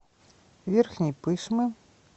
верхней пышмы